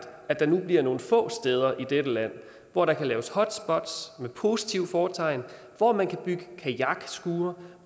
at der nu bliver nogle få steder i dette land hvor der kan laves hotspots med positivt fortegn hvor man kan bygge kajakskure